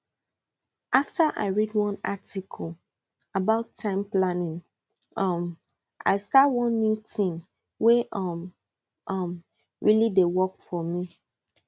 after i read one article about time planning um i start one new tin wey um um really dey work for me